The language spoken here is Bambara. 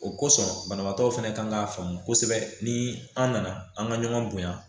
O kosɔn banabaatɔw fɛnɛ kan k'a faamu kosɛbɛ ni an nana an ka ɲɔgɔn bonya